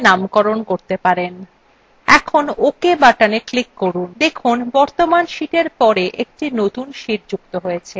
এখন ok buttona click করুন